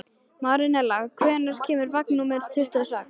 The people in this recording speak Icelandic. Marinella, hvenær kemur vagn númer tuttugu og sex?